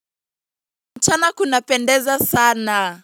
Mchana kunapendeza sana.